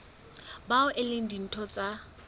bao e leng ditho tsa